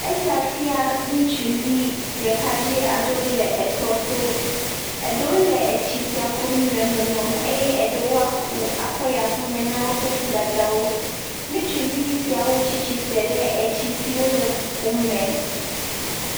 Esia fia ŋutsuvi ɖeka dze aɖewo le tɔ to. Eɖewo le etsi sia kum le nɔnɔme eye eɖewo aku akɔ yi aƒeme na wò nuɖaɖa wò. Ŋutsuvi siawo tsi tsitre ɖe atsi siawo le kukum me